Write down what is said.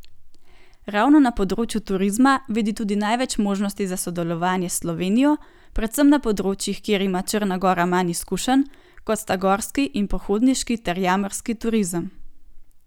Ravno na področju turizma vidi tudi največ možnosti za sodelovanje s Slovenijo, predvsem na področjih, kjer ima Črna gora manj izkušenj, kot sta gorski in pohodniški ter jamarski turizem.